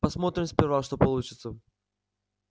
посмотрим сперва что получится